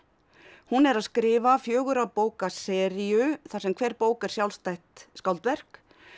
hún er að skrifa fjögurra bóka seríu þar sem hver bók er sjálfstætt skáldverk